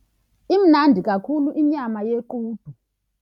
Imnandi kakhulu inyama yequdu.